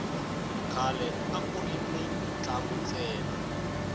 khale akuri ni mintlangu ntsena